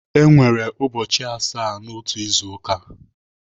Enwere ụbọchị asaa n'otu izu ụka.